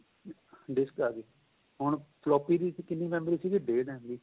disk ਆਂ ਗਈ ਹੁਣ floppy ਦੀ ਕਿੰਨੀ memory ਸੀਗੀ ਡੇਢ MB